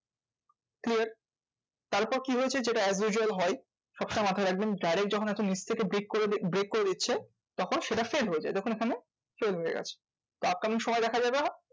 Clear? তারপর কি হয়েছে? যেটা as~ usual হয় সব সময় মাথায় রাখবেন direct যখন এত নিচ থেকে break করে break করে দিচ্ছে, তখন সেটা fail হয়ে যায় যথাস্থানে change হয়ে গেছে। upcoming সময় দেখা যাবে